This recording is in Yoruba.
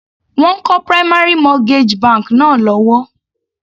Wọ́n ń kọ́ primary mortgage bank náà lọ́wọ́.